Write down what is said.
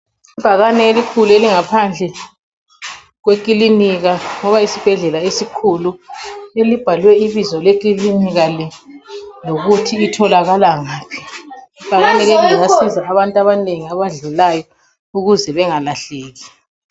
Ibhakane elikhulu elingaphandle kwekilinika loba yisibhedlela esikhulu elibhalwe ibizo lekilinika le lokuthi itholakala ngaphi. Ibhakane liyasiza abantu abanengi abadlulayo ukuze bengalahleki.